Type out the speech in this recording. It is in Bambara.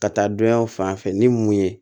Ka taa donyaw fan fɛ ni mun ye